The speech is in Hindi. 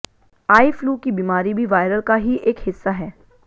आई फ्लू की बीमारी भी वायरल का ही एक हिस्सा है